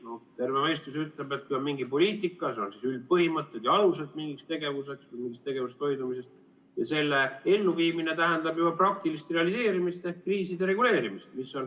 No terve mõistus ütleb, et kui on mingi poliitika, siis seal on üldpõhimõtted ja alused mingiks tegevuseks ja mingist tegevusest hoidumiseks ning selle elluviimine tähendab juba praktilist realiseerimist ehk kriiside reguleerimist.